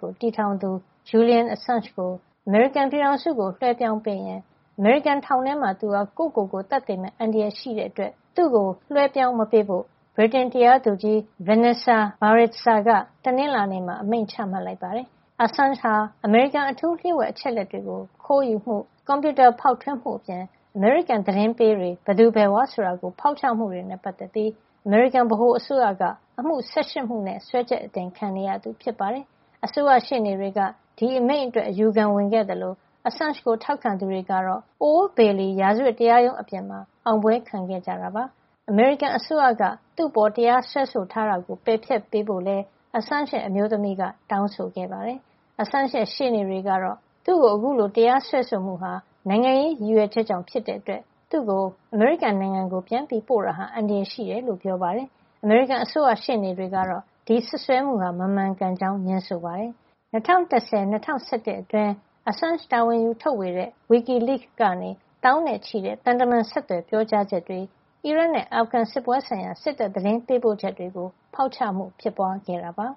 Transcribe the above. ကို တည်ထောင်သူ Julian Assange ကို အမေရိကန်ပြည်ထောင်စုကို လွှဲပြောင်းပေးရင် အမေရိကန်ထောင်ထဲမှာ သူဟာ ကိုယ့်ကိုယ်ကိုယ် သတ်သေမယ့် အန္တရာယ် ရှိတာကြောင့် သူ့ကို လွှဲပြောင်းမပေးဖို့ ဗြိတိန်တရားသူကြီး Vanessa Baraitser က တနင်္လာနေ့မှာ အမိန့်ချလိုက်ပါတယ်။ Assange ဟာ အမေရိကန်အထူးလ ျှို့ဝှက် အချက်လက်တွေကို ခိုးယူမှု၊ ကွန်ပြူတာဖောက်ထွင်းမှု အပြင် အမေရိကန် သတင်းပေးတွေ ဘယ်သူဘယ်ဝါဆိုတာ ဖောက်ချမှု တွေနဲ့ ပတ်သက်ပြီး အမေရိကန် ဗဟိုအစိုးရက အမှု ၁၈ မှု စွဲချက်အတင်ခံနေရသူ ဖြစ်ပါတယ်။ အစိုးရရှေ့နေတွေက ဒီအမိန့်အတွက် အယူခံဝင်ခဲ့သလို Assange ကို ထောက်ခံသူတွေကတော့ Old Bailey ရာဇဝတ်တရားရုံး အပြင်မှာ အောင်ပွဲခံခဲ့ကြတာပါ။ အမေရိကန်အစိုးရက သူ့အပေါ် တရားစွဲဆို ထားတာကို ပယ်ဖျက်ပေးဖို့လည်း Assange ရဲ့ အမျိုးသမီးက တောင်းဆိုခဲ့ပါတယ်။ Assange ရဲ့ ရှေ့နေတွေကတော့ သူ့ကို အခုလို တရားစွဲဆိုမှုဟာ နိုင်ငံရေးရည်ရွယ်ချက်ကြောင့် ဖြစ်တဲ့ အတွက် သူ့ကို အမေရိကန်နိုင်ငံပြန်ပို့တာဟာ အန္တရာယ်ရှိတယ်လို့ ပြောပါတယ်။ အမေရိကန် အစိုးရရှေ့နေတွေကတော့ ဒီစွပ်စွဲမှုဟာ မမှန်ကန်ကြောင်း ငြင်းဆိုပါတယ်။ ၂၀၁၀ - ၂၀၁၁ ခုနှစ် အတွင်း Assange တာဝန်ယူထုတ်ဝေတဲ့ WikiLeaks ကနေ သောင်းနဲ့ချီတဲ့ သံတမန် ဆက်သွယ်ပြောကြားချက်တွေ၊ အီရတ်နဲ့ အာဖဂန် စစ်ပွဲဆိုင်ရာ စစ်တပ်သတင်းပေးပို့ချက် တွေကို ဖောက်ချမှုဖြစ်ပွားခဲ့တာပါ